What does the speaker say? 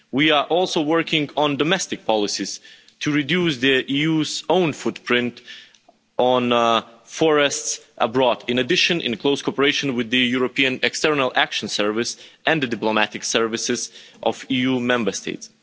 We are also working on domestic policies to reduce the EU's own footprint on forests abroad, in addition, in close cooperation with the European External Action Service and the diplomatic services of EU Member States.